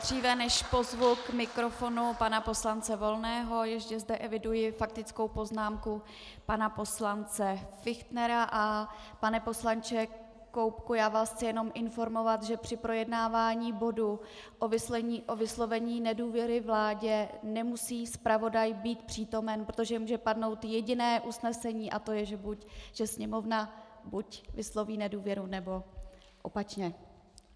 Dříve než pozvu k mikrofonu pana poslance Volného, ještě zde eviduji faktickou poznámku pana poslance Fichtnera, a pane poslanče Koubku, já vás chci jenom informovat, že při projednávání bodu o vyslovení nedůvěry vládě nemusí zpravodaj být přítomen, protože může padnout jediné usnesení, a to je, že Sněmovna buď vysloví nedůvěru, nebo opačně.